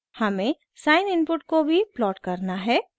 हमें sine input को भी प्लॉट करना है